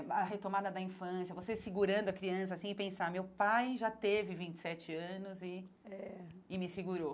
A retomada da infância, você segurando a criança assim e pensar, meu pai já teve vinte e sete anos e é e me segurou.